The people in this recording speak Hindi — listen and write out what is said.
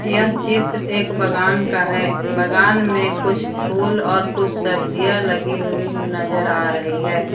यह चित्र एक बगान का है बगान में कुछ फूल और कुछ सब्जियां लगी हुई नजर आ रही है।